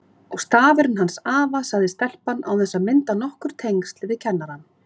Og stafurinn hans afa, sagði stelpan án þess að mynda nokkur tengsl við kennarann.